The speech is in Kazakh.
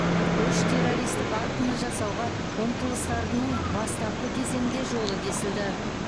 үш террористік актіні жасауға ұмтылыстарының бастапқы кезеңінде жолы кесілді